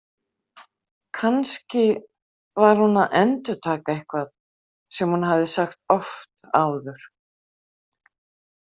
Kannski var hún að endurtaka eitthvað sem hún hafði sagt oft áður.